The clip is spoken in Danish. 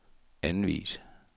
anvis